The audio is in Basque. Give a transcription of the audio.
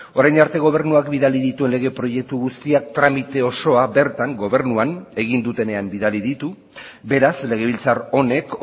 orain arte gobernuak bidali dituen lege proiektu guztiak tramite osoa bertan gobernuan egin dutenean bidali ditu beraz legebiltzar honek